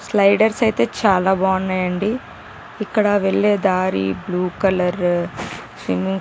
Sliders అయితే చాల బాగున్నాయి ఇక్కడ బ్లూ కలర్ --